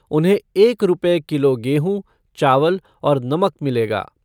उन्हें एक रूपये किलो गेहूं, चावल और नमक मिलेगा।